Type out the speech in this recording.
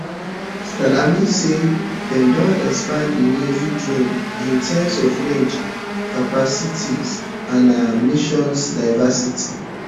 salami say dem don expand di naval drones in terms of range capabilities and mission diversity